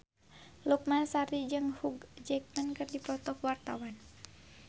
Lukman Sardi jeung Hugh Jackman keur dipoto ku wartawan